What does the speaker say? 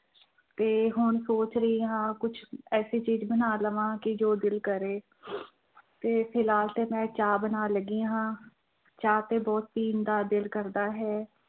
ਤੇ ਹੁਣ ਸੋਚ ਰਹੀ ਹਾਂ ਕੁਛ ਐਸੀ ਚੀਜ਼ ਬਣਾ ਲਵਾਂ ਕਿ ਜੋ ਦਿਲ ਕਰੇ ਤੇ ਫਿਲਹਾਲ ਤੇ ਮੈਂ ਚਾਹ ਬਣਾਉਣ ਲੱਗੀ ਹਾਂ, ਚਾਹ ਤੇ ਬਹੁਤ ਪੀਣ ਦਾ ਦਿਲ ਕਰਦਾ ਹੈ।